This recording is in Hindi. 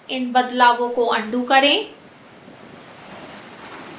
इन बदलावों को अन्डू करें